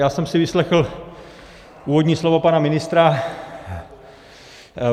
Já jsem si vyslechl úvodní slovo pana ministra.